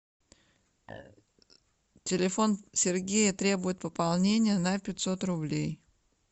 телефон сергея требует пополнения на пятьсот рублей